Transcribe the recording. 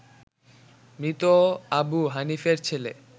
মৃত আবু হানিফের ছেলে